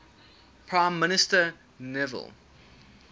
prime minister neville